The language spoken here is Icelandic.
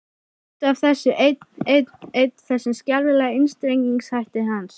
Út af þessu einn, einn, einn, þessum skelfilega einstrengingshætti hans.